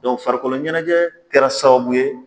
farikolo ɲɛnajɛ kɛra sababu ye